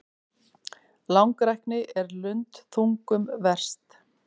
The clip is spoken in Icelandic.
Langrækni er lundþungum verst.